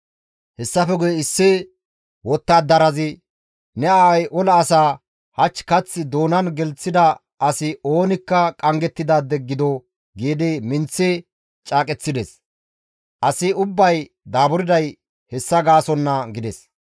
Hessafe guye issi wottadarazi, «Ne aaway ola asaa, ‹Hach kath doonan gelththida asi oonikka qanggettidaade gido› giidi minththi caaqeththides. Asi ubbay daaburday hessa gaasonna» gides.